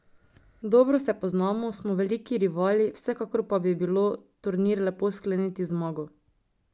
Dobro se poznamo, smo veliki rivali, vsekakor pa bi bilo turnir lepo skleniti z zmago.